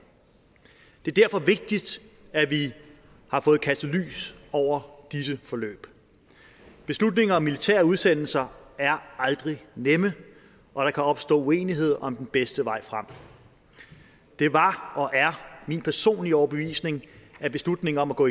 det er derfor vigtigt at vi har fået kastet lys over disse forløb beslutninger om militære udsendelser er aldrig nemme og der kan opstå uenighed om den bedste vej frem det var og er min personlige overbevisning at beslutningen om at gå